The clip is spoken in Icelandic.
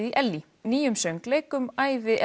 í Ellý nýjum söngleik um ævi